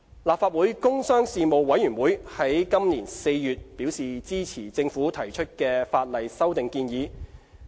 立法會工商事務委員會在本年4月表示支持政府提出的法例修訂建議。